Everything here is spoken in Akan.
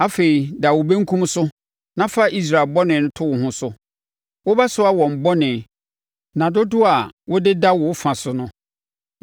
“Afei, da wo benkum so na fa Israel bɔne to wo ho so. Wobɛsoa wɔn bɔne nna dodoɔ a wode da wo fa so no.